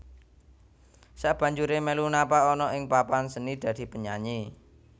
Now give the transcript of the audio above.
Sakbanjuré melu napak ana ing papan seni dadi penyanyi